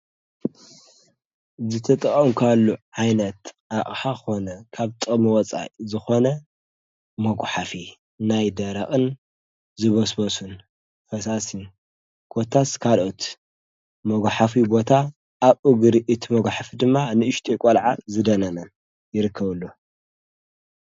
ዝተጠዖ እንኳሉ ኃይነት ኣቕሓ ኾነ ካብ ጠምወጻይ ዝኾነ መጕሓፊ ናይ ደራቕን ዝበስበሱን ፈሳሲን ጐታ ስካልኦት መጓሕፊ ቦታ ኣብ ኡግሪ እቲመጕሕፊ ድማ ንእሽቲየቖልዓ ዝደነመን ይርከብሉ።